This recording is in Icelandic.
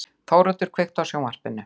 Þóroddur, kveiktu á sjónvarpinu.